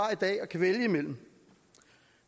at vælge imellem